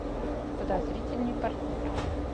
подозрительный партнер